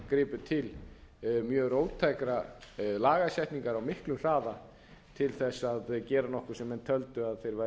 gripu til mjög róttækrar lagasetningar á miklum hraða til þess að gera nokkuð sem þeir töldu að þeir væru að